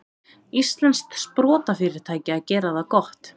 Íslenskt sprotafyrirtæki að gera það gott